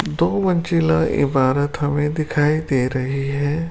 दो मंजीला ईमारत हमें दिखाई दे रही है।